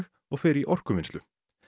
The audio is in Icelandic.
og fer í orkuvinnslu